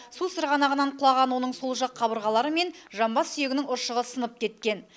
су сырғанағынан құлаған оның сол жақ қабырғалары мен жамбас сүйегінің ұршығы сынып кеткен